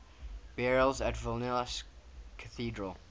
burials at vilnius cathedral